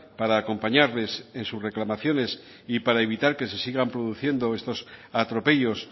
para acompañarles en sus reclamaciones y para evitar que se sigan produciendo estos atropellos